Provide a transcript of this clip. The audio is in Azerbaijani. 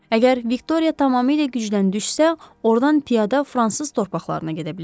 Əgər Viktoriya tamamilə gücdən düşsə, ordan piyada fransız torpaqlarına gedə bilərik.